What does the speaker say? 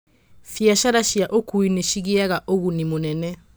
Biacara cia ũkuui nĩ cigĩaga ũguni mũnene.